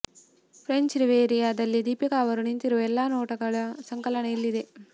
French Riviera ದಲ್ಲಿ ದೀಪಿಕಾ ಅವರು ನಿಂತಿರುವ ಎಲ್ಲಾ ನೋಟಗಳ ಸಂಕಲನ ಇಲ್ಲಿದೆ